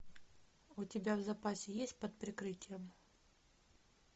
у тебя в запасе есть под прикрытием